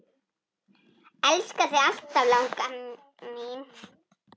Elska þig alltaf, langa mín.